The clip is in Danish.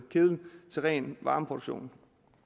til ren varmeproduktion